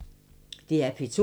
DR P2